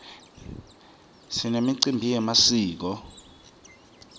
sinemicimbi yemasiko